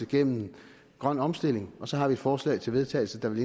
gennem grøn omstilling og så har vi forslag til vedtagelse der vil